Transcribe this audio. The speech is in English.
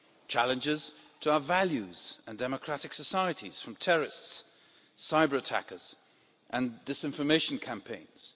Challenges to our values and democratic societies from terrorists, cyber attackers and disinformation campaigns.